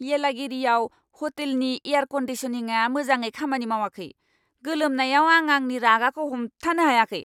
येलागिरिआव ह'टेलनि एयार क'न्डिसनिंआ मोजाङै खामानि मावाखै, गोलोमनायाव आं आंनि रागाखौ हमथानो हायाखै!